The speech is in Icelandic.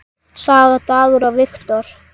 Sara, Dagur og Victor.